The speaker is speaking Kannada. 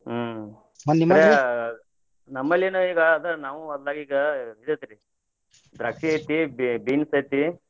ಹ್ಮ್ ನಮ್ಮಲ್ಲಿನು ಈಗ ಅದ ನಾವು ಹೊಲ್ದಾಗ ಈಗ ಇದ ಐತ್ರಿ ದ್ರಾಕ್ಷಿ ಐತಿ, ಬೀ~ ಬೀನ್ಸ್ ಐತಿ.